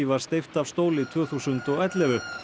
var steypt af stóli tvö þúsund og ellefu